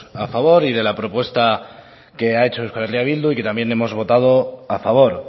a favor y de la propuesta que ha hecho euskal herria bildu y que también hemos votado a favor